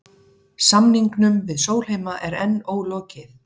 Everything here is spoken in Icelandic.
Samningum við Sólheima er enn ólokið